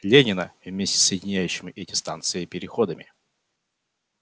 ленина вместе с соединяющими эти станции переходами